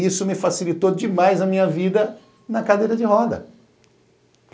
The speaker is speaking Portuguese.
Isso me facilitou demais a minha vida na cadeira de roda.